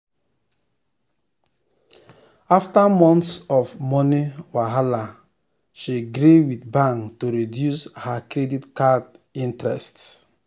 after months of money wahala she gree with bank to reduce her credit card interest.